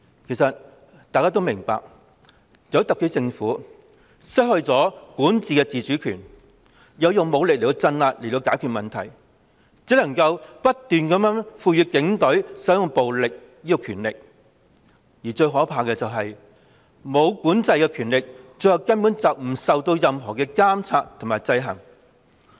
其實大家也明白，由於特區政府失去了管治的自主權，要透過武力鎮壓解決問題，故只能不斷賦予警隊使用暴力的權力，而最可怕的是，無管制的權力最後根本不受任何監察和制衡。